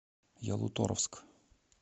ялуторовск